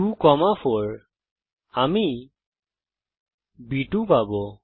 2 4 এবং আমি বি2 পাবো